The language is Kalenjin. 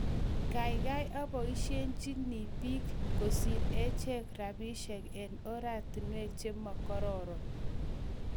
Kiagaigai aboishiechi bik kosir acheng rabiishek eng ortinwek che mo kororon.